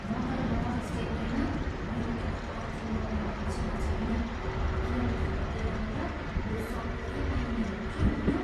म त नर्थ चेन्नईमा मेरो कार पार्किङ गर्ने पक्षमा छैन किनकि फर्केर आउँदा यो सग्लै पाइने हो कि होइन।